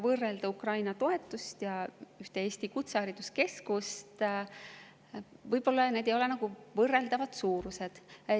Võrrelda Ukraina toetamist ja ühte Eesti kutsehariduskeskust – võib-olla need ei ole võrreldavad suurused.